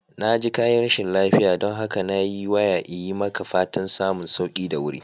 Na ji kayi rashin lafiya, don haka na yi waya iyi maka fatan samun sauki da wuri